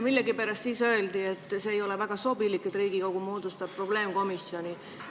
Millegipärast öeldi siis, et ei ole väga sobilik, kui Riigikogu moodustab probleemkomisjone.